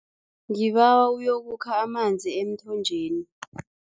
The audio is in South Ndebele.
Ngibawa uyokukha amanzi emthonjeni.